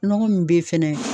Nɔgɔ mun be yen fɛnɛ